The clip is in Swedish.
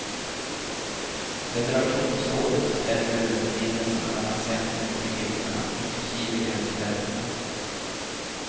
Federationsrådet bestämmer över förbindelserna mellan centrum och regionerna, inklusive gränsförändringar.